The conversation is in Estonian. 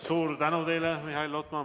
Suur tänu teile, Mihhail Lotman!